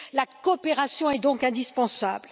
La coopération est donc indispensable.